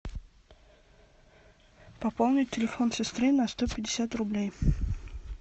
пополнить телефон сестры на сто пятьдесят рублей